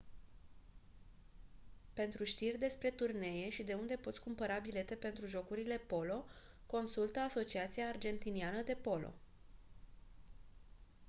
pentru știri despre turnee și de unde poți cumpăra bilete pentru jocurile polo consultă asociația argentiniană de polo